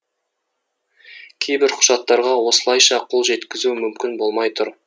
кейбір құжаттарға осылайша қол жеткізу мүмкін болмай тұр